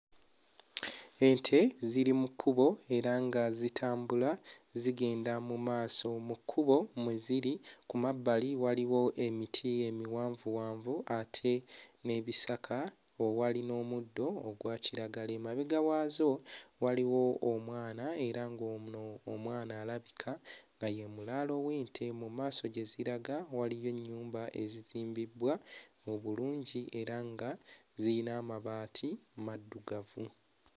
Ente ziri mu kkubo era nga zitambula zigenda mu maaso. Mu kkubo mwe ziri ku mabbali waliwo emiti emiwanvuwanvu ate n'ebisaka owali n'omuddo ogwa kiragala. Emabega waazo waliwo omwana era ng'ono omwana alabika nga ye mulaalo w'ente. Mu maaso gye ziraga waliyo ennyumba ezizimbibbwa mu bulungi era nga ziyina amabaati maddugavu.